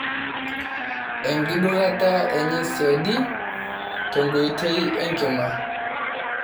oenkidurata enye siadi tenkoitoi enkima